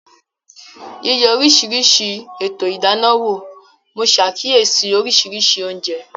Yíyẹ oríṣiríṣi ètò ìdáná wò, mo ṣàkíyèsí oríṣiríṣi oúnjẹ